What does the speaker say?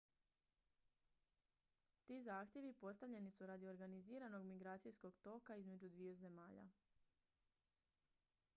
ti zahtjevi postavljeni su radi organiziranog migracijskog toka između dviju zemalja